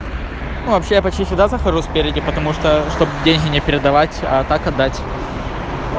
вообще почти сюда захожу спереди потому что чтобы деньги не передавать а так отдать